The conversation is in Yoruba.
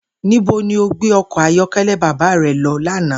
Níbo ni o gbé o̩kò̩ ayó̩ké̩lé̩ bàbá re̩ lo̩ lánàá?